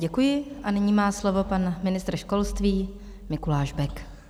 Děkuji a nyní má slovo pan ministr školství Mikuláš Bek.